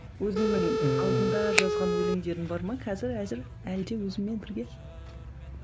өзіңнің алдында жазған өлеңдерің бар ма қазір әзір әлі де өзіңмен бірге